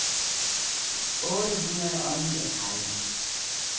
otte hundrede og niogtredive